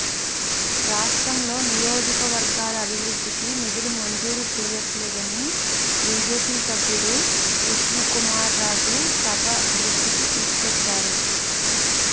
రాష్ట్రంలో నియో జకవర్గాల అభివృద్ధికి నిధులు మంజూరు చేయ ట్లేదని బీజేపీ సభ్యుడు విష్ణుకుమార్రాజు సభ దృష్టికి తీసుకువచ్చారు